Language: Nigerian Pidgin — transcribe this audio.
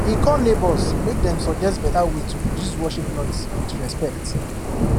he call neighbours make dem suggest better way to reduce worship noise with respect